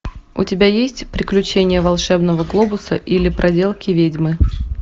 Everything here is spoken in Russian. у тебя есть приключения волшебного глобуса или проделки ведьмы